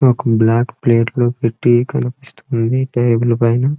ఒక black plate లో పెట్టి కనిపిస్తున్నది టేబుల్ పైన.